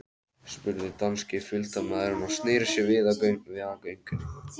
spurði danski fylgdarmaðurinn og sneri sér við á göngunni.